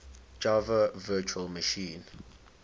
java virtual machine